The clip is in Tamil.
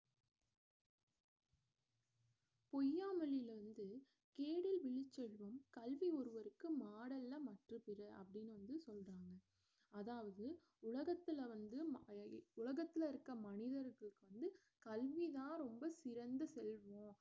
பொய்யாமொழியில இருந்து கேடில் விழுச்செல்வம் கல்வி ஒருவருக்கும் மாடல்ல மற்ற பிற அப்படின்னு வந்து சொல்றாங்க அதாவது உலகத்துல வந்து ம~ உலகத்துல இருக்க மனிதருக்கு வந்து கல்விதான் ரொம்ப சிறந்த செல்வம்